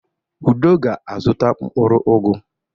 Udo ga-azụta mkpụrụ ugu.